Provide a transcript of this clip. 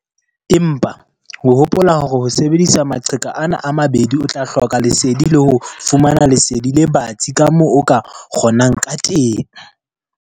Empa hopola hore ho sebedisa maqheka ana a mabedi o tla hloka lesedi le ho fumana lesedi le batsi ka moo o ka kgonang ka teng.